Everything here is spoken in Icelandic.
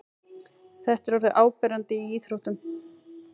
Þetta er orðið áberandi í íþróttum.